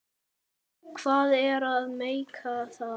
Hvað er að meika það?